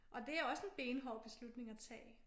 Og det også en benhård beslutning at tage